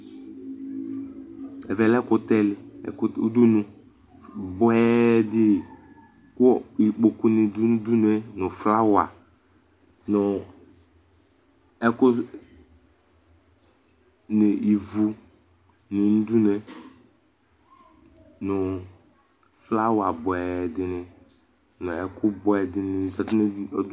ɛvɛlɛ uɖʋnu bʋɛɖi li kʋ ikpoku ni ɖʋ uɖʋnue ŋu flawa bʋɛ ɖìŋí ŋu ivʋŋi ŋu uɖʋnue